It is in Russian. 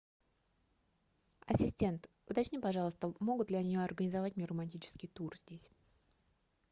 ассистент уточни пожалуйста могут ли они организовать мне романтический тур здесь